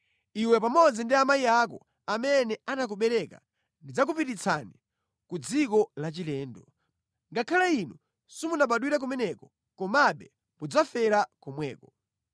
Iwe pamodzi ndi amayi ako amene anakubereka ndidzakupititsani ku dziko lachilendo. Ngakhale inu simunabadwire kumeneko, komabe mudzafera komweko.